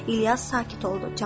İlyas sakit oldu.